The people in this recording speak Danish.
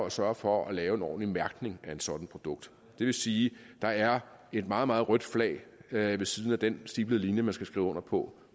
at sørge for at lave en ordentlig mærkning af et sådant produkt det vil sige at der er et meget meget rødt flag ved siden af den stiplede linje man skal skrive under på